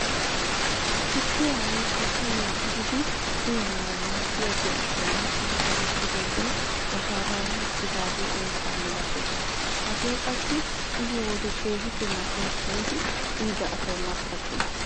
Tukkiyaa woykko shayiyaa tiggidi uyanawu maaddiyaa birilliyaan tigi wottidoogee washalali uttidagee eessaa malatees. hagee qassi uyiyoo wode keehippe mal"ees giidi uyida asay markattees.